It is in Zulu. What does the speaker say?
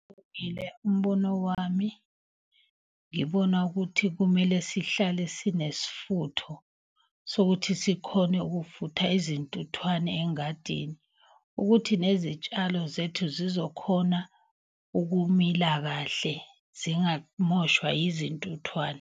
Umbono wami ngibona ukuthi kumele sihlale sinesfutho sokuthi sikhone ukufutha izintuthwane engadini. Ukuthi nezitshalo zethu zizokhona ukumila kahle zingamoshwa yizintuthwane.